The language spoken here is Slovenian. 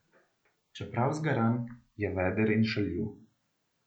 Čeprav zgaran, je veder in šaljiv.